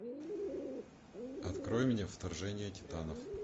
открой мне вторжение титанов